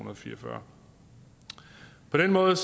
og fire og fyrre på den måde